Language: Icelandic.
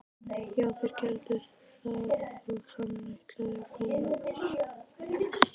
Já, þeir gerðu það og hann ætlaði að koma.